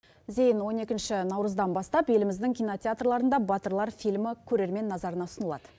зейін он екінші наурыздан бастап еліміздің кинотеатрларында батырлар фильмі көрермен назарына ұсынылады